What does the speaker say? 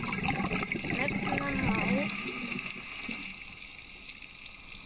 Megi eilíft lýsa ljósið Hans.